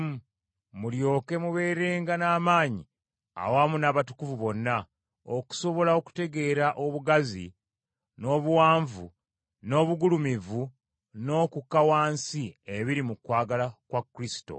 mulyoke mubeerenga n’amaanyi awamu n’abatukuvu bonna, okusobola okutegeera obugazi, n’obuwanvu, n’obugulumivu n’okukka wansi ebiri mu kwagala kwa Kristo.